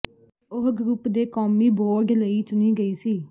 ਉਹ ਗਰੁੱਪ ਦੇ ਕੌਮੀ ਬੋਰਡ ਲਈ ਚੁਣੀ ਗਈ ਸੀ